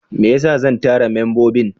Me yasa zan tara membobin?